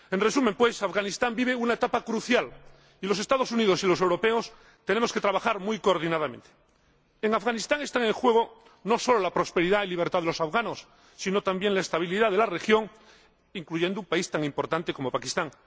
En resumen, Afganistán vive una etapa crucial y los Estados Unidos y los europeos tenemos que trabajar muy coordinadamente. En Afganistán están en juego no solo la prosperidad y libertad de los afganos, sino también la estabilidad de la región, incluido un país tan importante como Pakistán.